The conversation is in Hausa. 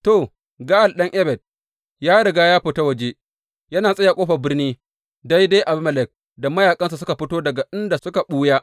To, Ga’al ɗan Ebed ya riga ya fita waje yana tsaye a ƙofar birni daidai Abimelek da mayaƙansa suka fito daga inda suka ɓuya.